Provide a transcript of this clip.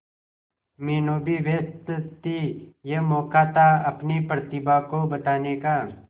मीनू भी व्यस्त थी यह मौका था अपनी प्रतिभा को बताने का